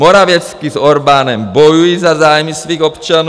Morawiecki s Orbánem bojují za zájmy svých občanů.